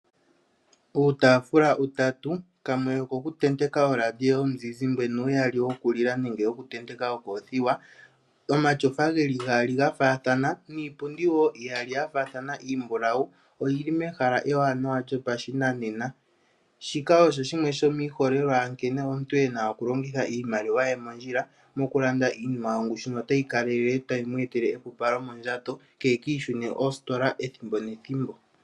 Puutafula utatu kamwe oku tenteka radio yomuzizimba nuyaali wo kulila nenge woku tenteka okothiwa. Omatyofa geli gaali gafathana niipundi wo iyaali yafathana iimbulawu oyili mehala ewanawa lyopashinanena. Shika osho shimwe shomiholelwa yankene omuntu ena oku longitha iimaliwa ye mondjila moku landa iinima yongushu notayi kalelele otayi mu etele epupalo mondjato keki ishune kositola ethimbo nethimbo.